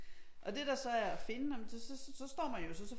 Og det der så er at finde nej men så står man jo så